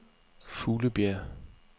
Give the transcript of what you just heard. Fuglebjerg